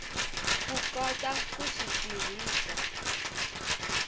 ku kota ku swi tirhisa